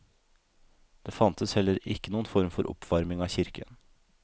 Det fantes heller ikke noen form for oppvarming av kirken.